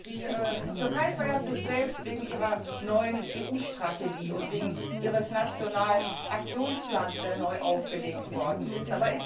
Die Türkei feiert sich selbst wegen ihrer neuen EU Strategie und wegen ihres nationalen Aktionsplans, der neu aufgelegt worden ist.